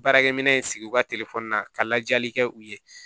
Baarakɛminɛn in sigi u ka telefɔni na ka lajali kɛ u ye